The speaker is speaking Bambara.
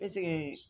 Ɛseke